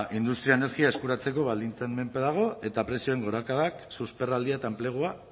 industria energia eskuratzeko baldintzen menpe dago eta prezioen gorakadak susperraldia eta enplegua